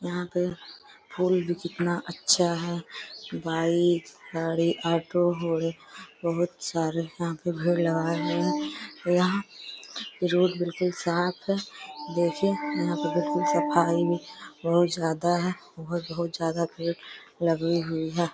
यहाँ पे फूल भी कितना अच्छा है। बाइक गाड़ी ऑटो घोड़े बहुत सारे यहाँ पे भीड़ लगाये हैं। यहाँ रोड बिलकुल साफ है। देखे यहाँ पे बिल्कुल सफाई भी बहुत ज्यादा है। बहुत-बहुत ज्यादा भीड़ लगी हुई है।